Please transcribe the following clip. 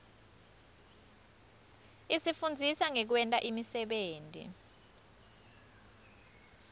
isifundzisa ngekwenta imisebenti